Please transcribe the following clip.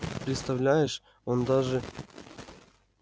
представляешь он даже